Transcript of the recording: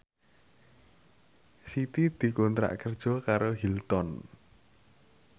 Siti dikontrak kerja karo Hilton